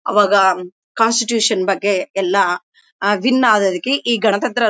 ಆವಾಗ ಕಾನ್ಸ್ಟಿಟ್ಯೂಷನ್ ಬಗ್ಗೆ ಎಲ್ಲಾ ವಿನ್ ಆದದಕ್ಕೆ ಈ ಗಣತಂತ್ರ--